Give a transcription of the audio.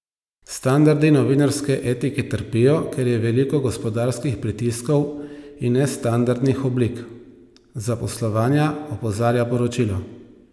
Standardi novinarske etike trpijo, ker je veliko gospodarskih pritiskov in nestandardnih oblik zaposlovanja, opozarja poročilo.